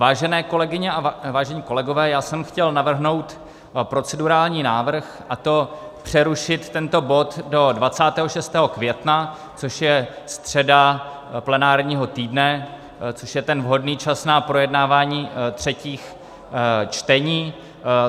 Vážené kolegyně a vážení kolegové, já jsem chtěl navrhnout procedurální návrh, a to přerušit tento bod do 26. května, což je středa plenárního týdne, což je ten vhodný čas na projednávání třetích čtení.